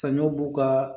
Saɲɔ b'u ka